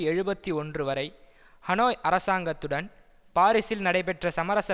எழுபத்து ஒன்று வரை ஹனோய் அரசாங்கத்துடன் பாரிஸில் நடைபெற்ற சமரச